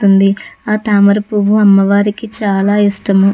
వస్తుంది. ఆ తామర పువ్ అమవ్రికి చాల ఇస్తాము.